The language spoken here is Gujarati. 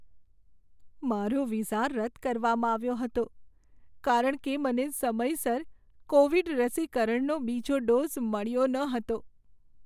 મારો વિઝા રદ કરવામાં આવ્યો હતો કારણ કે મને સમયસર કોવિડ રસીકરણનો બીજો ડોઝ મળ્યો ન હતો.